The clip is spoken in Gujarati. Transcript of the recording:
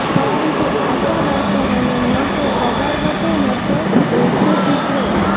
પરંતુ આશાવર્કરોને ન તો પગાર વધે ન તો ગેજ્યુટી પ્રો